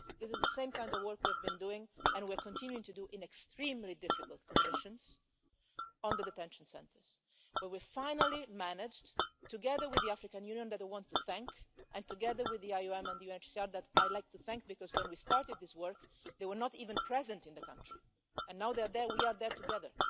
This is the same kind of work we have been doing and we are continuing to do in extremely difficult conditions on the detention centres, where we finally managed together with the African Union, which I want to thank, and together with the IOM and UNHCR, which I'd like to thank, because when we started this work, they were not even present in the country, and we are there together.